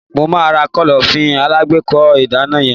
Mo máa ra Kọ́lọ́fín alágbèékọ́ ìgànná yen.